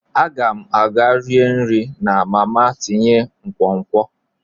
Aga m aga rie nri na mama tinye nkwonkwo.